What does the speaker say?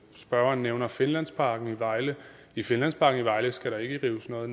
spørgeren nævner finlandsparken i vejle i finlandsparken i vejle skal der ikke rives noget